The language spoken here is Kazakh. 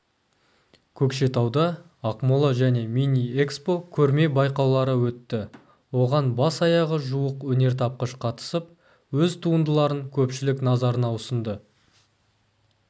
көкшетауда ақмола және миниэкспо көрме-байқаулары өтті оған бас-аяғы жуық өнертапқыш қатысып өз туындыларын көпшілік назарына ұсынды